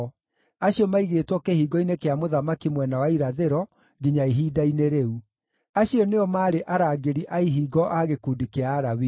acio maigĩtwo kĩhingo-inĩ kĩa mũthamaki mwena wa irathĩro, nginya ihinda-inĩ rĩu. Acio nĩo maarĩ arangĩri a ihingo a gĩkundi kĩa Alawii.